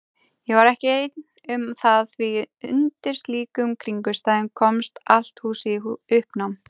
Ég var ekki ein um það því undir slíkum kringumstæðum komst allt húsið í uppnám.